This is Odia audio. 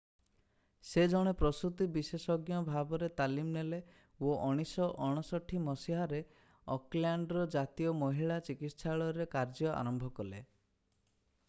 ସେ ଜଣେ ପ୍ରସୂତି ବିଶେଷଜ୍ଞ ଭାବରେ ତାଲିମ ନେଲେ ଓ 1959 ମସିହାରେ ଅକଲ୍ୟାଣ୍ଡର ଜାତୀୟ ମହିଳା ଚିକିତ୍ସାଳୟରେ କାର୍ଯ୍ୟ ଆରମ୍ଭ କଲେ